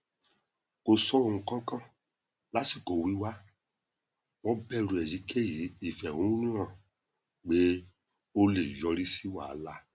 kò sọ nnkankan lásìkò wíwá wọn bẹrù èyíkéyìí ìfẹhónúhàn pé ó lè yọrí sí wàhálà